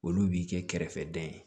Olu b'i kɛ kɛrɛfɛdɛn ye